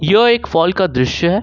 जो एक फॉल का दृश्य है।